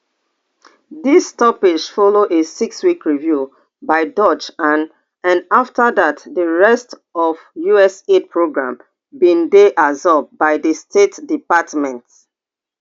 dis stoppage follow a sixweek review by doge and and afta dat di rest of usaid programme bin dey absorbed by di state department